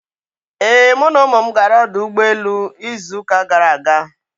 Ee, mụ na ụmụ m gara ọdụ ụgbọ elu izu uka gara aga.